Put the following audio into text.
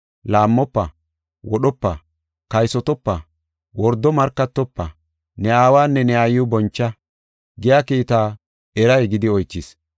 Laammofa, wodhopa, kaysotopa, wordo markatofa, ne aawanne ne aayiw boncha” giya kiita eray gidi oychis.